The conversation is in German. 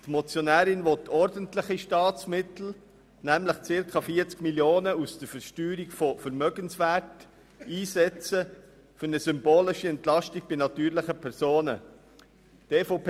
Die Motionärin will ordentliche Staatsmittel, nämlich circa 40 Mio. Franken, aus der Versteuerung von Vermögenswerten einsetzen, um eine symbolische Entlastung bei den natürlichen Personen zu erreichen.